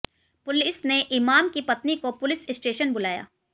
police ने इमाम की पत्नी को पुलिस स्टेशन बुलाया